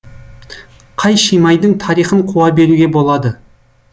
қай шимайдың тарихын қуа беруге болады